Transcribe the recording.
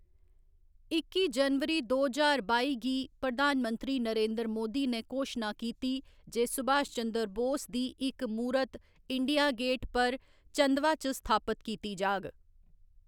इक्की जनवरी दो ज्हार बाई गी, प्रधान मंत्री नरेंद्र मोदी ने घोशना कीती जे सुभाष चंद्र बोस दी इक मूरत इंडिया गेट पर चंदवा च स्थापत कीती जाह्‌‌ग।